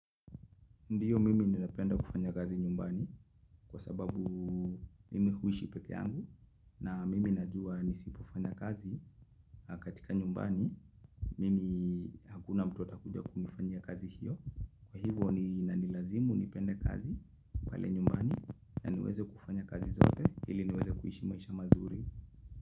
Ndiyo mimi ninapenda kufanya kazi nyumbani kwa sababu mimi huishi peke yangu na mimi najua nisipofanya kazi katika nyumbani mimi hakuna mtu atakuja kunifanyia kazi hiyo kwa hivyo ni lazima nipende kazi pale nyumbani na niweze kufanya kazi zote ili niweze kuishi maisha mazuri.